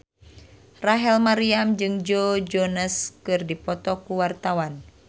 Rachel Maryam jeung Joe Jonas keur dipoto ku wartawan